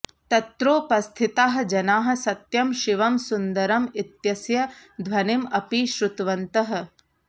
तत्रोपस्थिताः जनाः सत्यं शिवं सुन्दरम् इत्यस्य ध्वनिम् अपि श्रुतवन्तः